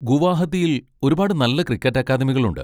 ഗുവാഹത്തിയിൽ ഒരുപാട് നല്ല ക്രിക്കറ്റ് അക്കാദമികളുണ്ട്.